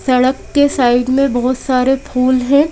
सड़क के साइड में बहुत सारे फूल हैं।